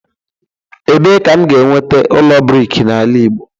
Ebee ka m ga-enweta ụlọ brik n'ala Igbo?